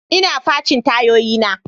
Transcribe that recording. Ina facin tayoyina.